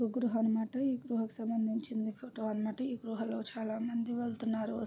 ఇది గృహ అన్నమాట ఈ గృహ కు సంబంధించింది ఫోటో అన్నటు ఈ గృహలో చాలామంది వెళ్తున్నారు.